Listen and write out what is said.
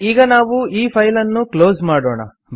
ಈಗ ನಾವು ಈ ಫೈಲ್ ಅನ್ನು ಕ್ಲೋಸ್ ಮಾಡೋಣ